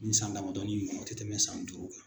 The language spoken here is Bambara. Nin san damadɔnin in ŋɔnɔ o tɛ tɛmɛ san duuru kan.